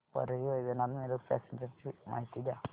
Parli Vaijnath Miraj passenger ची माहिती द्या